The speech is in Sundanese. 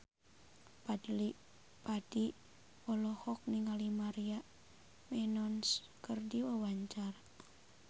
Fadly Padi olohok ningali Maria Menounos keur diwawancara